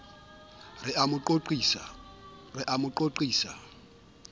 re o a mo qoqisa